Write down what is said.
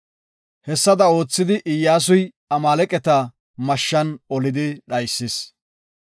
Hessada oothidi Iyyasuy Amaaleqata mashshan olidi dhaysis.